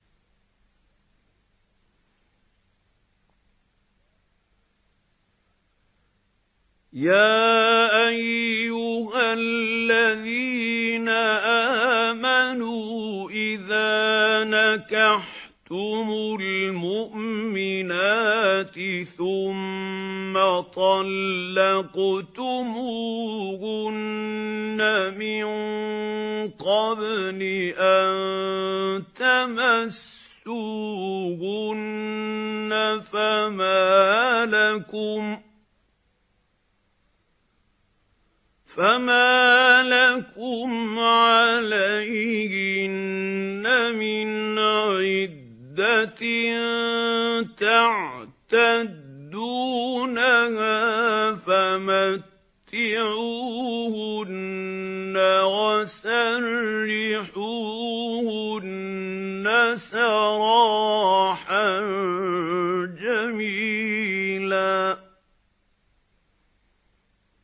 يَا أَيُّهَا الَّذِينَ آمَنُوا إِذَا نَكَحْتُمُ الْمُؤْمِنَاتِ ثُمَّ طَلَّقْتُمُوهُنَّ مِن قَبْلِ أَن تَمَسُّوهُنَّ فَمَا لَكُمْ عَلَيْهِنَّ مِنْ عِدَّةٍ تَعْتَدُّونَهَا ۖ فَمَتِّعُوهُنَّ وَسَرِّحُوهُنَّ سَرَاحًا جَمِيلًا